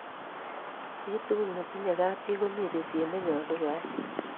chi tugul netinye kab chi ko mi bishiet nenyalu koai